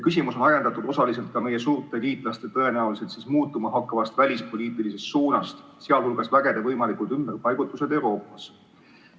Küsimus on ajendatud osaliselt ka meie suurte liitlaste tõenäoliselt muutuma hakkavast välispoliitilisest suunast, sh vägede võimalikud ümberpaigutused Euroopas.